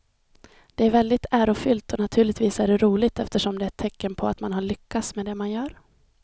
Det är väldigt ärofyllt och naturligtvis är det roligt eftersom det är ett tecken på att man har lyckats med det man gör.